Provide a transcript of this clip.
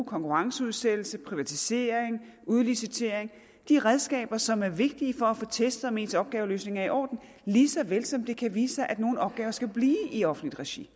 konkurrenceudsættelse privatisering og udlicitering de redskaber som er vigtige for at få testet om ens opgaveløsning er i orden lige så vel som det kan vise sig at nogle opgaver skal blive i offentligt regi